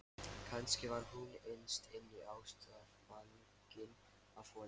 Kannski var hún innst inni ástfangin af honum.